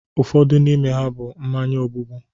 Ụfọdụ n'ime ha bụ mmanya ogbubu